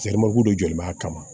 don joli b'a kama